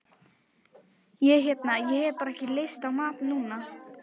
Ég hérna. ég hef bara ekki lyst á mat núna.